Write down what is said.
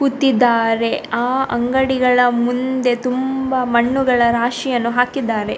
ಕೂತಿದ್ದಾರೆ ಆ ಅಂಗಡಿಗಳ ಮುಂದೆ ತುಂಬ ಮಣ್ಣುಗಳ ರಾಶಿಯನ್ನು ಹಾಕಿದ್ದಾರೆ.